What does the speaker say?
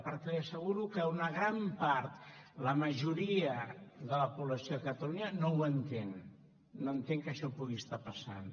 perquè li asseguro que una gran part la majoria de la població de catalunya no ho entén no entén que això pugui estar passant